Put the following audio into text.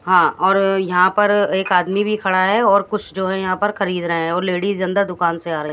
हां और यहां पर एक आदमी भी खड़ा है और कुछ जो है यहां पर खरीद रहे हैं और लेडिज अंदर दुकान से आ रहीं--